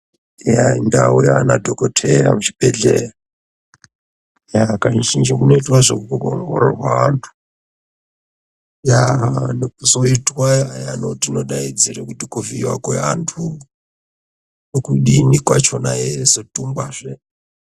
Eya ndau yaana dhokoteya muchibhedhleya, eya kazhinji kunoitwa zvekuongorwa vantu. Eya nekuzoitwa iya yetinodaidzire kuti kuvhiiwa kweantu nekudini kwachona eizodhungwazve.